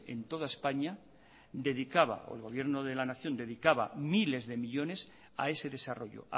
en toda españa dedicaba o el gobierno de la nación dedicaba miles de millónes a ese desarrollo